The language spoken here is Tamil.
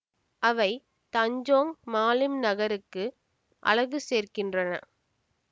அவை தஞ்சோங் மாலிம் நகருக்கு அழகு சேர்க்கின்றன